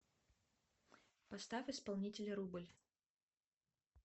поставь исполнителя рубль